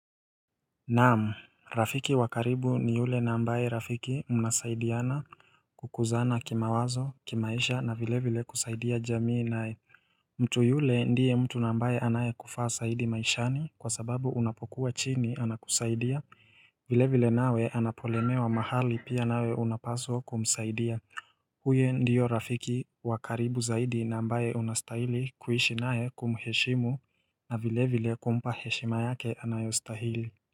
Naam, Rafiki wa karibu ni yule na amabaye Rafiki mnasaidiana kukuzana kimawazo, kimaisha na vilevile kusaidia jamii naye mtu yule ndiye mtu na ambaye anayekufaa zaidi maishani kwa sababu unapokuwa chini anakusaidia, vile vile nawe anapolemewa mahali pia nawe unapaswa kumsaidia Huyo ndiyo Rafiki wa karibu zaidi na ambaye unastahili kuishi naye kumheshimu na vile vile kumpa heshima yake anayostahili.